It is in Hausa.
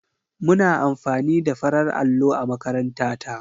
Muna amfani da farar allo a makaranta ta.